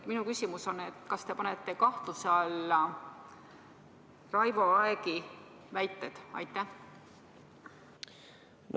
Minu küsimus on: kas te panete kahtluse alla Raivo Aegi väited?